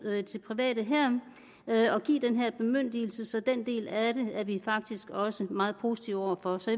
til private her og give den her bemyndigelse så den del af det er vi faktisk også meget positive over for så